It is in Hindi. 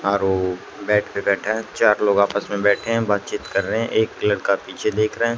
आर ओ बेड पे बैठा है चार लोग आपस में बैठे हैं बातचीत कर रहे हैं एक लड़का पीछे देख रहे हैं।